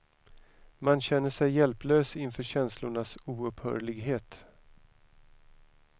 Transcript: Man känner sig hjälplös inför känslornas oupphörlighet.